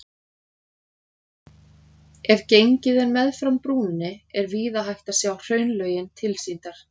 Ef gengið er meðfram brúninni er víða hægt að sjá hraunlögin tilsýndar.